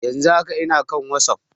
Yan zun haka ina kan wasap